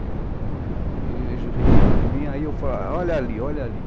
E eles riram de mim, aí eu falei, olha ali, olha ali.